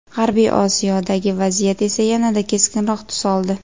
G‘arbiy Osiyodagi vaziyat esa yanada keskinroq tus oldi.